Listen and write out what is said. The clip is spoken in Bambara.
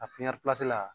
A pipiniyɛri pese la